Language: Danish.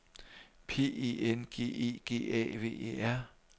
P E N G E G A V E R